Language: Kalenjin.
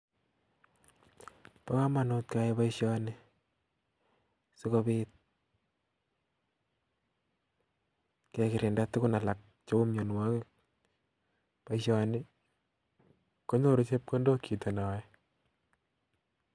Bokomonut keyai boishoni sikobit kekirinda tukun alak cheu mionwokik, boishono konyoru chepkondok chito neyoe.